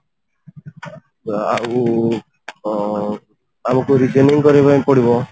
ଆଉ ଅ ଆମକୁ reasoning କରିବା ପାଇଁ ପଡିବ